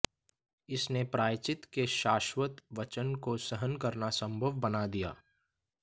इसने प्रायश्चित्त के शाश्वत वजन को सहन करना संभव बना दिया